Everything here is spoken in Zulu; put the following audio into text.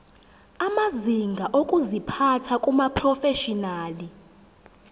amazinga okuziphatha kumaprofeshinali